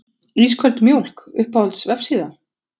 Ísköld mjólk Uppáhalds vefsíða?